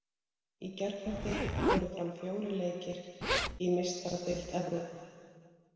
Í gærkvöldi fóru fram fjórir leikir í Meistaradeild Evrópu.